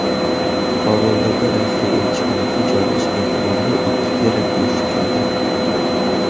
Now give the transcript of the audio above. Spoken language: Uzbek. Kobuldagi Rossiya elchixonasi joylashgan tumanda ikki terakt uyushtirildi.